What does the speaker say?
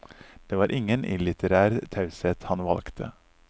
Det var ingen illitterær taushet han valgte.